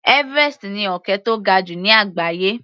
Everest ni òkè tó ga jù ní àgbáyé.